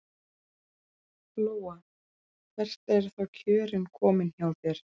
Lóa: Hvert eru þá kjörin komin hjá þér?